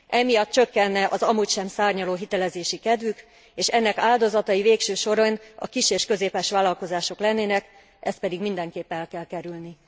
Emiatt csökkenne az amúgy sem szárnyaló hitelezési kedvük, és ennek áldozatai végső soron a kis és közepes vállalkozások lennének, ezt pedig mindenképpen el kell kerülni.